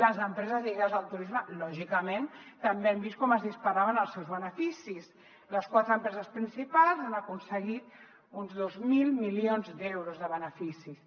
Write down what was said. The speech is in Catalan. les empreses lligades al turisme lògicament també han vist com es disparaven els seus beneficis les quatre empreses principals han aconseguit uns dos mil milions d’euros de beneficis